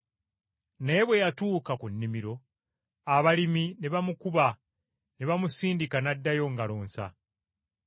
Naye bwe yatuuka ku nnimiro abalimi ne bamukuba ne bamusindika n’addayo ngalo nsa.